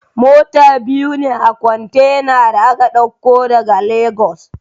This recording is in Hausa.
Mota biyu ce a kwantena da aka ɗauko daga Legas